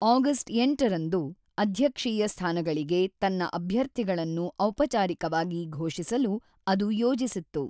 August ೮ರಂದು ಅಧ್ಯಕ್ಷೀಯ ಸ್ಥಾನಗಳಿಗೆ ತನ್ನ ಅಭ್ಯರ್ಥಿಗಳನ್ನು ಔಪಚಾರಿಕವಾಗಿ ಘೋಷಿಸಲು ಅದು ಯೋಜಿಸಿತ್ತು.